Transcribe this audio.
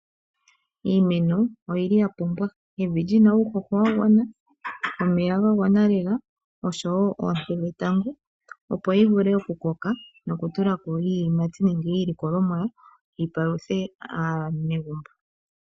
Iimeno oyili ya pumbwa evi lina uuhoho wa gwana, omeya ga gwana lela oshowo oonte dhetango opo yi vule oku koka noku tulako iiyimati nenge iilikolomwa yi paluthe aanegumbo.